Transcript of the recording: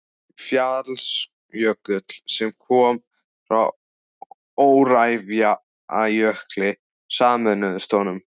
Fjallsjökull, sem koma frá Öræfajökli, sameinuðust honum.